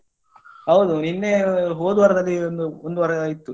ಹೌದು ನಿನ್ನೇ ಹೋದವಾರದಲ್ಲಿ ಒಂದು ಒಂದ್ ವಾರ ಇತ್ತು.